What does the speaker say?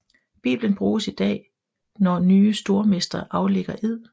Biblen bruges i dag når nye stormestre aflægger ed